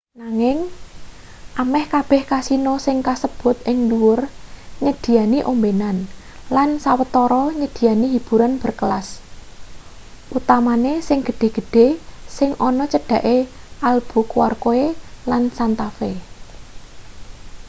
nanging ameh kabeh kasino sing kasebut ing dhuwur nyediyani ombenan lan sawetarane nyediyani hiburan berkelas utamane sing gedhe-gedhe sing ana cedhake albuquerque lan santa fe